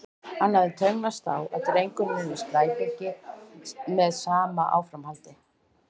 Hann hafði tönnlast á að drengurinn yrði slæpingi með sama áframhaldi.